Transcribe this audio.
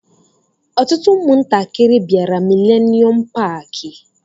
Ọtụtụ ụmụ ntakịrị bịara milenium Paaki.